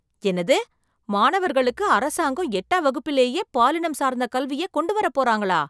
என்னது! மாணவர்களுக்கு அரசாங்கம் எட்டாம் வகுப்பிலேயே பாலினம் சார்ந்த கல்வியை கொண்டு வரப் போறாங்களா?